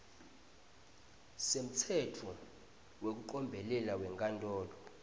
semtsetfo wekucombelela wenkantolo